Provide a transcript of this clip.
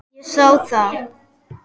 Ég sá það.